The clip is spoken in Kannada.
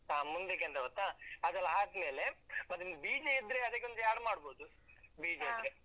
ಹಾ ಮುಂದ್ಕೆಂತ ಗೊತ್ತಾ, ಅದೆಲ್ಲಾ ಆದ್ಮೇಲೆ ಮತ್ತೊಂದು ಬೀಜ ಇದ್ರೆ ಅದಕ್ಕೊಂದು add ಮಾಡ್ಬೋದು .